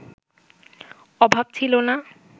অভাব ছিল না